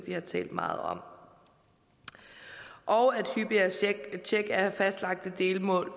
vi har talt meget om og at hyppigere tjek af fastlagte delmål